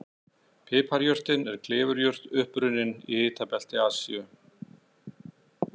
Piparjurtin er klifurjurt upprunnin í hitabelti Asíu.